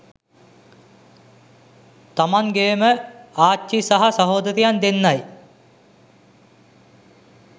තමන්ගේ ම ආච්චි සහ සහෝදරියන් දෙන්නයි.